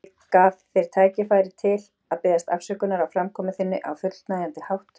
Ég gef þér eitt tækifæri til að biðjast afsökunar á framkomu þinni á fullnægjandi hátt.